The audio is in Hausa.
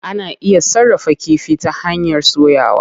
Ana iya sarrafa kifi ta hanyar soyawa.